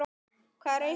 Hvaða raus er þetta?